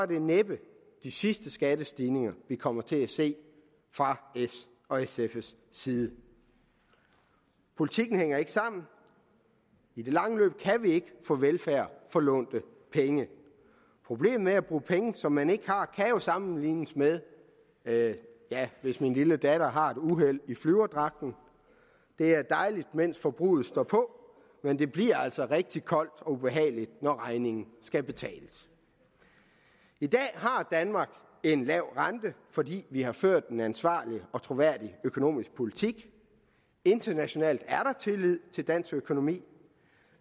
det næppe de sidste skattestigninger vi kommer til at se fra s og sfs side politikken hænger ikke sammen i det lange løb kan vi ikke få velfærd for lånte penge problemet med at bruge penge som man ikke har kan sammenlignes med med hvis min lille datter har et uheld i flyverdragten det er dejligt mens forbruget står på men det bliver altså rigtig koldt og ubehageligt når regningen skal betales i dag har danmark en lav rente fordi vi har ført en ansvarlig og troværdig økonomisk politik internationalt er der tillid til dansk økonomi